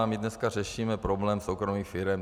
A my dneska řešíme problém soukromých firem.